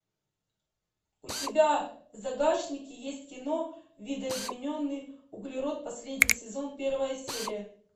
у тебя в загашнике есть кино видоизмененный углерод последний сезон первая серия